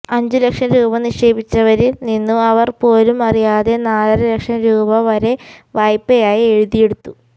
അഞ്ചു ലക്ഷം രൂപ നിക്ഷേപിച്ചവരിൽ നിന്നും അവർ പോലും അറിയാതെ നാലര ലക്ഷം രൂപ വരെ വായ്പയായി എഴുതി എടുത്തു